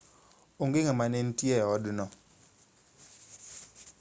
onge ng'ama ne nitie e odno